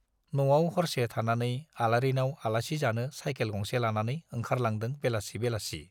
न'आव हरसे थानानै आलारिनाव आलासि जानो साइकेल गंसे लानानै ओंखारलांदों बेलासि बेलासि।